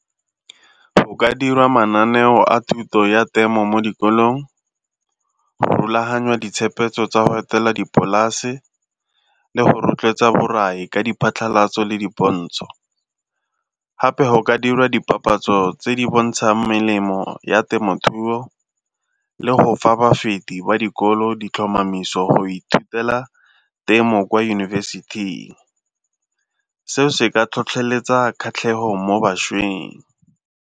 Go ka dirwa mananeo a thuto ya temo mo dikolong, go rulaganya ditshepetso tsa go etela dipolase le go rotloetsa borai ka diphatlhalatso le dipontsho. Gape go ka dirwa dipapatso tse di bontshang melemo ya temothuo le go fa bafepi ba dikolo ditlhomamiso go ithutela temo kwa yunibesithing, seo se ka tlhotlheletsa kgatlhego mo bašweng.